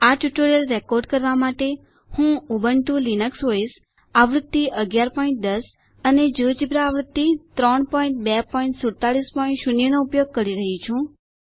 આ tutorial record કરવા માટે હું ઉબુન્ટુ લિનક્સ ઓએસ આવૃત્તિ 1110 અને જિયોજેબ્રા આવૃત્તિ 32470 વાપરી રહ્યી છું